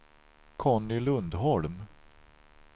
Conny Lundholm